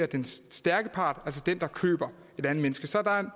den stærke part altså den der køber et andet menneske så der er